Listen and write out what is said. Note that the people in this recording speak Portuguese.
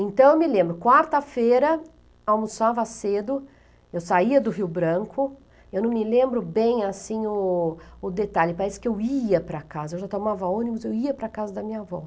Então, eu me lembro, quarta-feira, almoçava cedo, eu saía do Rio Branco, eu não me lembro bem, assim, o o detalhe, parece que eu ia para casa, eu já tomava ônibus, eu ia para casa da minha avó.